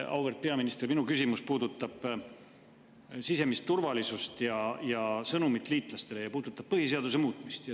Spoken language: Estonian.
Auväärt peaminister, minu küsimus puudutab sisemist turvalisust, sõnumit liitlastele ja põhiseaduse muutmist.